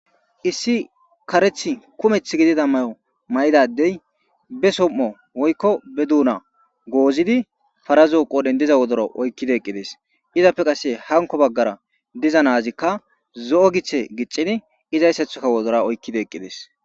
issi kareth kumeth gidida mayo may7idadey be som7o woykko be duuna goozidi farazoo qodhen diza wodora oykkide eqqides izappe qasse hanko baggara diza naazikka zo7o githe giccin izayssathoka wodora oykkide eqqides